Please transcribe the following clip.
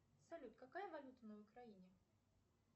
салют какая валюта на украине